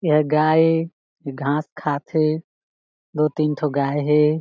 एहा गाय ए घास खात हे दो-तीन ठो गाय है।